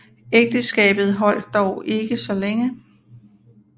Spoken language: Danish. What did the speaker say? Ægteskabet holde dog ikke så længe